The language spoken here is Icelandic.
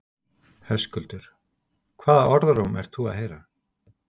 Höskuldur: Hvaða orðróm ert þú að heyra?